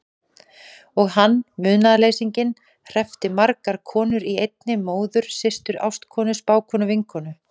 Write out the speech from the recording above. Og hann, munaðarleysinginn, hreppti margar konur í einni: móður systur ástkonu spákonu vinkonu.